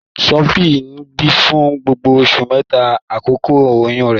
Sophie ń bi fun gbogbo oṣu mẹta akọkọ oyun rẹ.